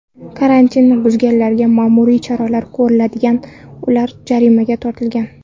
Karantinni buzganlarga ma’muriy choralar ko‘rilgan ular jarimaga tortilgan.